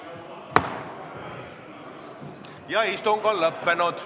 Ma ei ole kunagi öelnud, et koalitsiooni moodustavad erakonnad, mis ei ole professionaalsed.